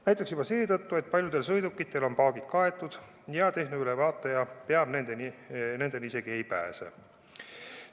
Näiteks juba seetõttu, et paljudel sõidukitel on paagid kaetud ja tehnoülevaataja nendeni isegi ei pääse.